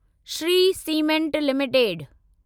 Shri Cement limited